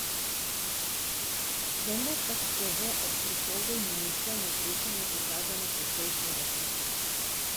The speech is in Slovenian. Vendar pa so se že ob prihodu ministrov na srečanje pokazale precejšnje razlike.